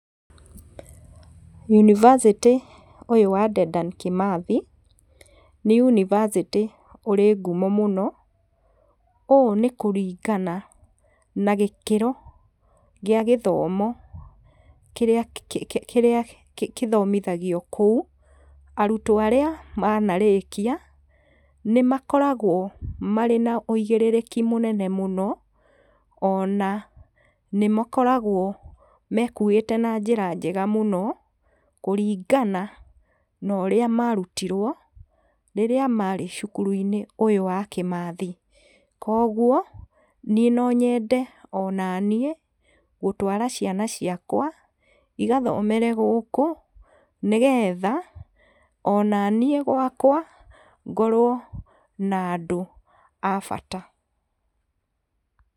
Yunibacĩtĩ ũyũ wa Dedan kĩmathi, nĩ yunibacĩtĩ ũrĩ ngumo mũno, ũũ nĩ kũringana na gĩkĩro gĩa gĩthomo kĩrĩa kĩ, kĩrĩa gĩthomithagio kũu, arutwo arĩa manarĩkia, nĩ makoragwo marĩ na wĩgĩrĩrĩki mũnene mũno, ona nĩ makoragwo mekuĩte na njĩra njega mũno, kũringana norĩa marutirwo rĩrĩa marĩ cukuru-inĩ ũyũ wa Kimathi, koguo niĩ nonyende o naniĩ, gũtwara ciana ciakwa igathomere gũkũ, nĩgetha onaniĩ gwakwa, ngorwo nandũ a bata.